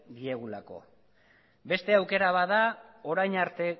diegulako beste aukera bat da